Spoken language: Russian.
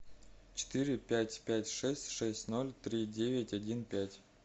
четыре пять пять шесть шесть ноль три девять один пять